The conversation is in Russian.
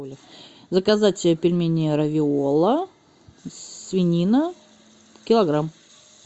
заказать пельмени равиола свинина килограмм